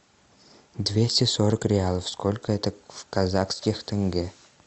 двести сорок реалов сколько это в казахских тенге